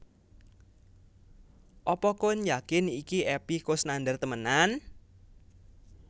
Apa koen yakin iki Epy Koesnandar temenan?